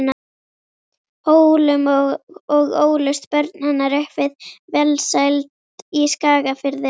Hólum og ólust börn hennar upp við velsæld í Skagafirði.